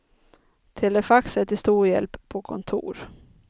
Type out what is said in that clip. Telefax är till stor hjälp på kontor.